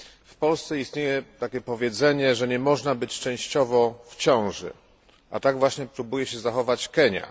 W Polsce istnieje takie powiedzenie, że nie można być częściowo w ciąży, a tak właśnie próbuje się zachować Kenia.